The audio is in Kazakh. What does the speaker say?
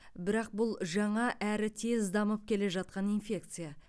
бірақ бұл жаңа әрі тез дамып келе жатқан инфекция